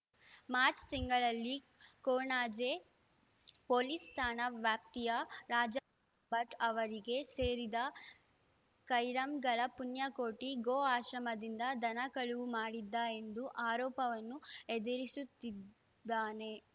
March ತಿಂಗಳಲ್ಲಿ Konaje police ಠಾಣಾ ವ್ಯಾಪ್ತಿಯ ರಾಜಾ ಭಟ್ ಅವರಿಗೆ ಸೇರಿದ ಕೈರಂಗಳ ಪುಣ್ಯಕೋಟಿ ಗೋ ಆಶ್ರಮದಿಂದ ದನ ಕಳವು ಮಾಡಿದ್ದ ಎಂದು ಆರೋಪವನ್ನು ಎದುರಿಸುತ್ತಿದ್ದಾನೆ